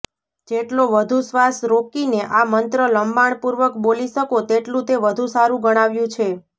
જેટલો વધું શ્વાસ રોકીને આ મંત્ર લંબાણપૂર્વક બોલી શકો તેટલું તે વધું સારું ગણાવ્યું છે